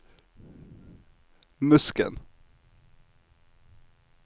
Musken